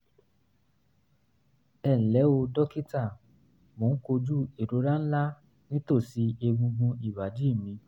ẹ ǹlẹ́ o dókítà mò ń kojú ìrora ńlá nítòsí egungun ìbàdí mi